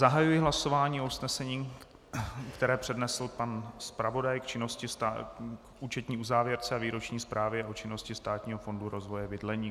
Zahajuji hlasování o usnesení, které přednesl pan zpravodaj k účetní uzávěrce a výroční zprávě o činnosti Státního fondu rozvoje bydlení.